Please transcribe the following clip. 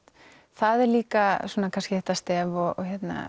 það er líka þetta stef og